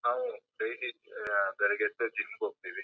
ನಾವು ಡೈಲಿ ಬೆಳಗ್ಗೆ ಎದ್ದು ಜಿಮ್ ಗೆ ಹೋಗ್ತಿವಿ.